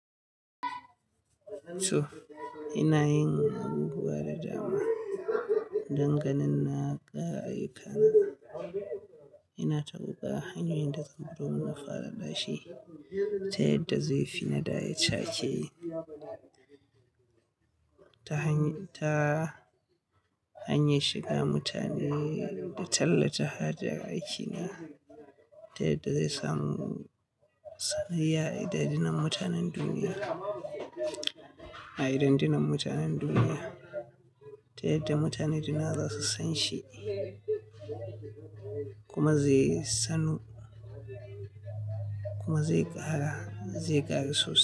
To ina yin abubuwa da dama don ganin na ƙara aikana. Ina ta roƙa hanyoyin da zan bi domin nafara ɗashe, ta yadda zai fi na da ya cake, ta hanyar, ta hanyar shiga mutane, da tallata hajar aiki na, ta yadda zai samu, sanayya idan-dinan mutanen duniya, a idan-dinan mutanen duniya, ta yadda mutane duniya za su san shi, kuma zai ƙara, zai ƙaru sosai,